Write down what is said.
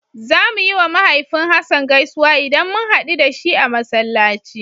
Zamu yiwa mahaifin Hassan gaisuwa idan mun haɗu da shi a Masallaci.